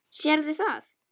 Sérðu það?